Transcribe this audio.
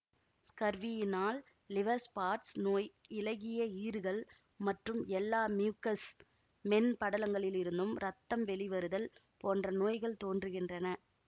ஸ்கர்வியினால் liver spots நோய் இளகிய ஈறுகள் மற்றும் எல்லா மியூக்கஸ் மென்படலங்களிலிருந்தும் இரத்தம் வெளிவருதல் போன்ற நோய்கள் தோன்றுகின்றன